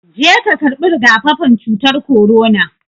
Je ka karɓi rigakafin cutar korona